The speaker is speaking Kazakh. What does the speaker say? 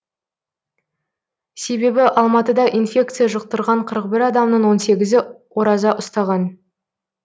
себебі алматыда инфекция жұқтырған қырық бір адамның он сегізі ораза ұстаған